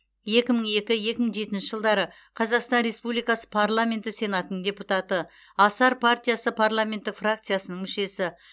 екі мың екі екі мың жетінші жылдары қазақстан республикасы парламенті сенатының депутаты асар партиясы парламенттік фракциясының мүшесі